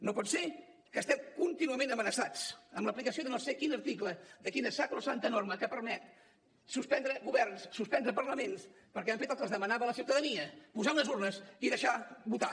no pot ser que estiguem contínuament amenaçats amb l’aplicació de no sé quin article de quina sacrosanta norma que permet suspendre governs suspendre parlaments perquè han fet el que els demanava la ciutadania posar unes urnes i deixar votar